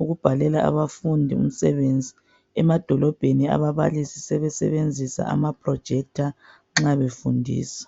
ukubhalela abafundi umsebenzi . Emadolobheni ababalisi sebesebenzisa amaprojekitha nxa befundisa.